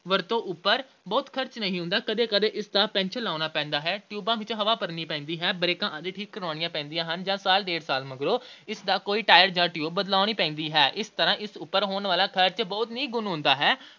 ਵਰਤੋਂ ਉਪਰ ਬਹੁਤ ਖਰਚ ਨਹੀਂ ਹੁੰਦਾ। ਕਦੇ-ਕਦੇ ਇਸਦਾ ਪੈਂਚਰ ਲਗਾਉਣਾ ਪੈਂਦਾ ਹੈ। ਟਿਊਬਾਂ ਵਿੱਚ ਹਵਾ ਭਰਨੀ ਪੈਂਦੀ ਹੈ। ਬ੍ਰੇਕਾਂ ਆਦਿ ਠੀਕ ਕਰਾਉਣੀਆਂ ਪੈਂਦੀਆਂ ਹਨ ਜਾਂ ਸਾਲ – ਡੇਢ ਸਾਲ ਮਗਰੋਂ ਇਸ ਦਾ ਕੋਈ tire ਜਾਂ tube ਬਦਲਾਉਣੀ ਪੈਂਦੀ ਹੈ। ਇਸ ਤਰ੍ਹਾਂ ਇਸ ਉੱਪਰ ਹੋਣ ਵਾਲਾ ਖਰਚ ਬਹੁਤ ਹੀ ਨਿਗੁਣਾ ਹੁੰਦਾ ਹੈ,